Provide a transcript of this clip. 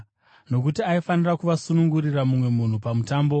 (Nokuti aifanira kuvasunungurira mumwe munhu pamutambo.)